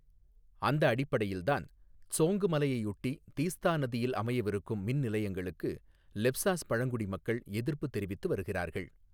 அந்த அடிப்படையில்தான் த்ஸோங்கு மலையையொட்டி தீஸ்தா நதியில் அமையவிருக்கும் மின்நிலையங்களுக்கு லெப்ஸாஸ் பழங்குடி மக்கள் எதிர்ப்பு தெரிவித்து வருகிறார்கள்.